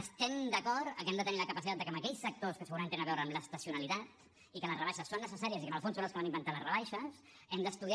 estem d’acord amb que hem de tenir la capacitat de que en aquells sectors que segurament tenen a veure amb l’estacionalitat i en què les rebaixes són necessàries i que en el fons són els que van inventar les rebaixes hem d’estudiar